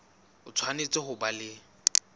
o tshwanetse ho ba le